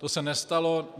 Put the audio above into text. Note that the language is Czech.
To se nestalo.